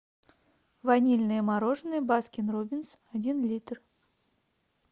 ванильное мороженое баскин роббинс один литр